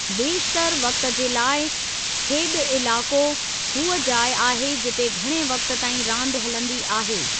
बेशितरु वक़्ति जे लाइ, 'खेॾु इलाक़ो' हूअ जाइ आहे जिते घणे वक़्ति ताईं रांदि हलंदी आहे।